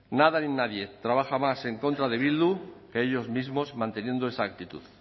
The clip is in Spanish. nada ni nadie trabaja más en contra de bildu que ellos mismos manteniendo esa actitud